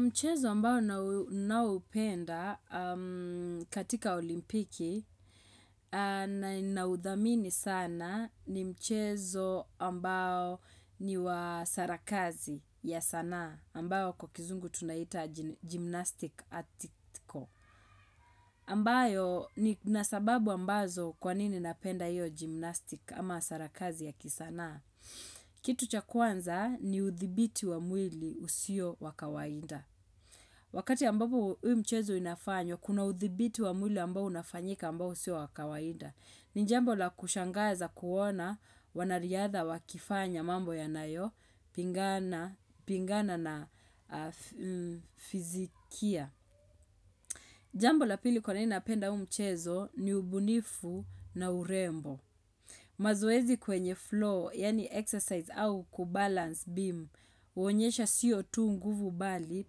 Mchezo ambao naupenda katika olimpiki na naudhamini sana ni mchezo ambao ni wa sarakas ya sanaa ambao kwa kizungu tunaiita gymnastic atiko. Ambayo nina sababu ambazo kwa nini napenda hiyo gymnastik ama sarakasi ya kisanaa. Kitu cha kwanza ni uthibiti wa mwili usio wakawaida. Wakati ambapo huu mchezo inafanywa, kuna uthibiti wa mwili ambao unafanyika ambao si wa kawaida. Ni jambo la kushangaza kuona wanariadha wakifanya mambo yanayopingana na fizikia. Jambo la pili kwanini napenda huu mchezo ni ubunifu na urembo. Mazoezi kwenye floor, yaani exercise au kubalance beam, huonyesha sio tu nguvu bali,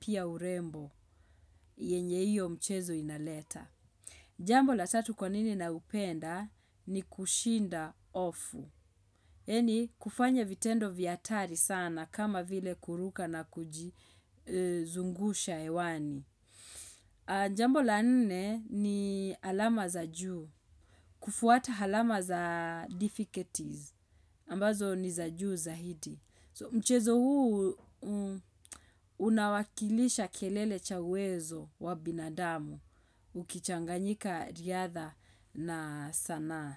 pia urembo. Yenye hiyo mchezo inaleta. Jambo la tatu kwa nini na upenda ni kushinda hofu. Yani kufanya vitendo vya hatari sana kama vile kuruka na kujizungusha hewani. Jambo la nne ni alama za juu. Kufuata alama za difficulties. Ambazo ni za juu zaidi. Mchezo huu unawakilisha kelele cha uwezo wa binadamu ukichanganyika riadha na sanaa.